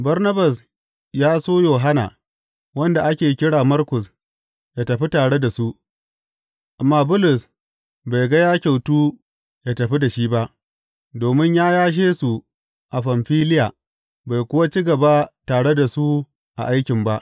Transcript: Barnabas ya so Yohanna, wanda ake kira Markus ya tafi tare da su, amma Bulus bai ga ya kyautu ya tafi da shi ba, domin ya yashe su a Famfiliya bai kuwa ci gaba tare da su a aikin ba.